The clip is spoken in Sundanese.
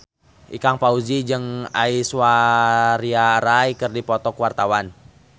Ikang Fawzi jeung Aishwarya Rai keur dipoto ku wartawan